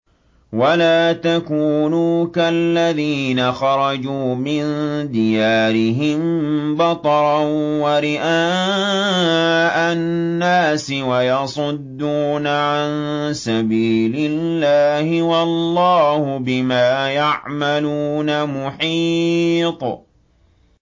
وَلَا تَكُونُوا كَالَّذِينَ خَرَجُوا مِن دِيَارِهِم بَطَرًا وَرِئَاءَ النَّاسِ وَيَصُدُّونَ عَن سَبِيلِ اللَّهِ ۚ وَاللَّهُ بِمَا يَعْمَلُونَ مُحِيطٌ